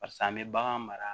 Pase an bɛ bagan mara